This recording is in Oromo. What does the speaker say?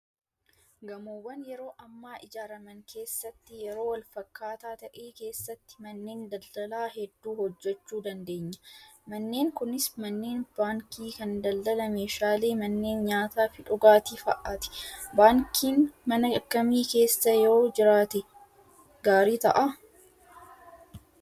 Gamoowwan yeroo ammaa ijaaraman keessatti yeroo wal fakkaataa ta'e keessatti manneen daldalaa hedduu hojjachuu dandeenya. Manneen kunis manneen baankii, kan daldala meeshaalee, manneen nyaataa fi dhugaatii fa'aati. Baankiin mana akkamii keessa yoo jiraate gaarii ta'aa?